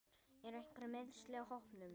Eru einhver meiðsli á hópnum?